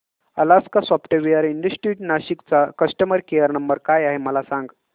Alaska software institute Nashik चा customer care number काय आहे मला सांग